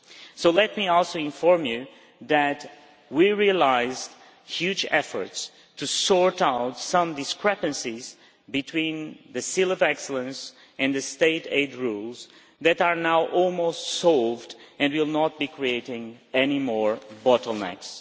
So let me also inform you that we realised huge efforts to sort out some discrepancies between the Seal of Excellence and the state aid rules that are now almost solved and will not be creating any more bottlenecks.